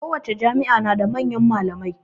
Kowace jami'a na da manyan malamai